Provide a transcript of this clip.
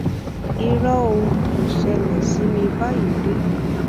irọ ò kò ṣẹlẹ sí mi báyìí rí